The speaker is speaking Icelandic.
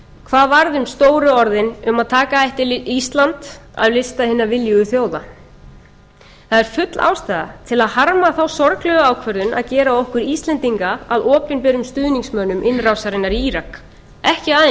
hvað varð um stóru orðin um að taka ætti ísland af lista hinna viljugu þjóða það er full ástæða til að harma þá sorglegu ákvörðun að gera okkur íslendinga að opinberum stuðningsmönnum innrásarinnar í írak ekki aðeins